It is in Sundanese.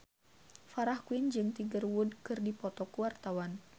Farah Quinn jeung Tiger Wood keur dipoto ku wartawan